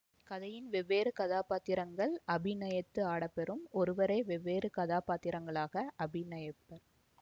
கதையின் வெவ்வேறு கதாபாத்திரங்கள் அபிநயித்து ஆடப்பெறும்ஒருவரே வெவ்வேறு கதாபாத்திரங்களாக அபிநயிப்பர்